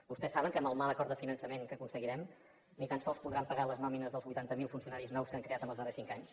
vostès saben que amb el mal acord de finançament que aconseguirem ni tan sols podran pagar les nòmines dels vuitanta mil funcionaris nous que han creat en els darrers cinc anys